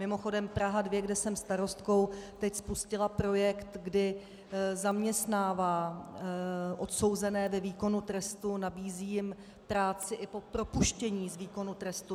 Mimochodem Praha 2, kde jsem starostkou, teď spustila projekt, kdy zaměstnává odsouzené ve výkonu trestu, nabízí jim práci i po propuštění z výkonu trestu.